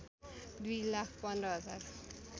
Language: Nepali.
दुई लाख पन्ध्र हजार